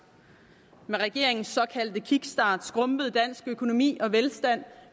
med regeringens såkaldte kickstart skrumpede dansk økonomi og velstand